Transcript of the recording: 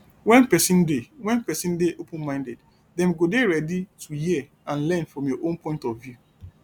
when person dey when person dey open minded dem go dey ready to hear and learn from your own point of view